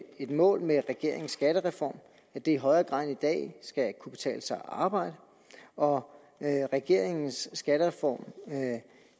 et mål med regeringens skattereform at det i højere grad end i dag skal kunne betale sig at arbejde og regeringens skattereform